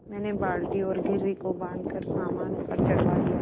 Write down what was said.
मैंने बाल्टी और घिर्री को बाँधकर सामान ऊपर चढ़वा दिया